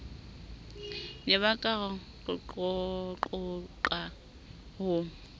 ne ba ka qoqaqoqa ho